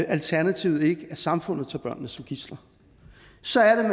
alternativet ikke at samfundet tager børnene som gidsler så er det